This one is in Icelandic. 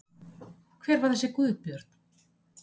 Hver var þessi Guðbjörn?